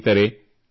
ಸ್ನೇಹಿತರೆ